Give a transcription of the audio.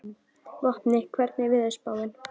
Vopni, hvernig er veðurspáin?